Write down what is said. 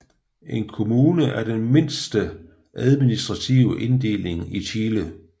En kommune er den mindste administrative inddeling i Chile